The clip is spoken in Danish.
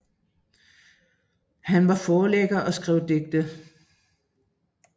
Han var forlægger og skrev digte